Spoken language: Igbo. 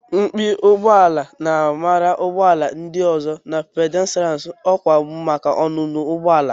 Mpi ụgbọ ala na-amara ụgbọ ala ndị ọzọ na ndị pàdéstirán ọkwa maka ọnụnọ ụgbọ ala